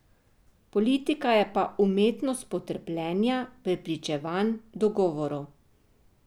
Politika je pa umetnost potrpljenja, prepričevanj, dogovorov.